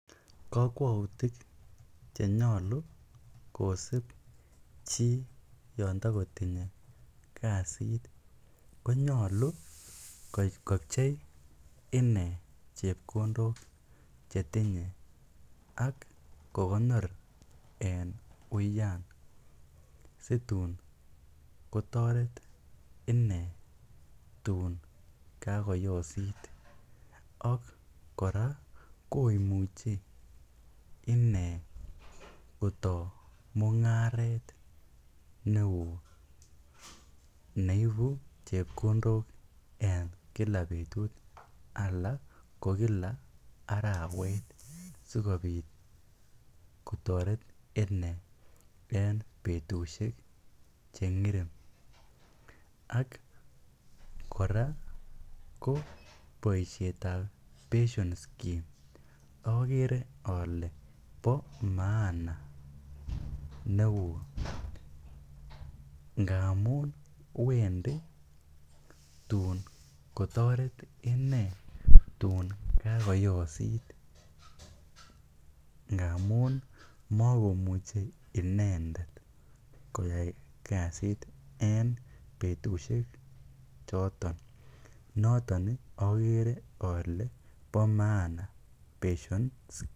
Kokwoutik ch enyolu kosib chi yon togo tinye kasit, konyolu kopchei ine chepkondok che tinye ak kogonor en uyan situn kotoret ine tun kagoyosit, ak kora komuchi inee kotoo mung'aret neo neibu chepkondok en kila betut al ko kila arawet sikobit kotoret inee en betushek che ngerem. Ak kora ko boisietab pension scheme ogere ole bo maan neo kot ngamun wendi tun kotoret inee tun kagoyosit ngamun mogomuche inendet koyai kasit en betushek choto, noton ogere ole bo maana pension scheme